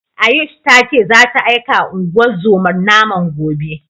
Ayush ta ce zata aikawa unguwar zomar naman gobe.